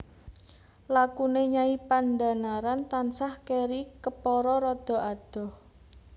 Lakune Nyai Pandhanaran tansah keri kepara rada adoh